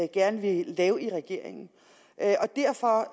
gerne vil lave i regeringen derfor